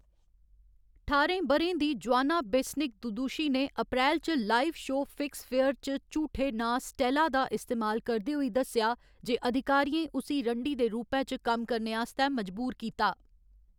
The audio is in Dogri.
ठाह्‌रें ब'रें दी जोआना बेस्निक दुदुशी ने अप्रैल च लाइव शो फिक्स फेयर च झूठे नांऽ स्टेला दा इस्तेमाल करदे होई दस्सेआ जे अधिकारियें उसी रंडी दे रूपै च कम्म करने आस्तै मजबूर कीता।